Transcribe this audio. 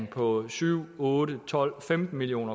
på syv otte tolv femten million